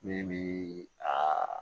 Min bi a